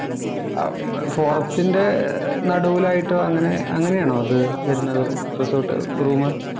ഏർ ഫോറസ്റ്റിന്‍റെ നടുവിലായിട്ടോ അങ്ങനെ അങ്ങനെയാണോ അത് വരുന്നത് റിസോര്‍ട്ട് റൂം